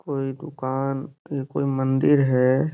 कोई दुकान पे कोई मंदिर है।